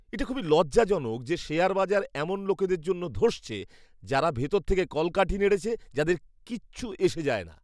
এটা খুবই লজ্জাজনক যে শেয়ার বাজার এমন লোকদের জন্য ধসছে যারা ভিতর থেকে কলকাঠি নেড়েছে, যাদের কিচ্ছু যায় আসে না।